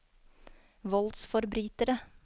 voldsforbrytere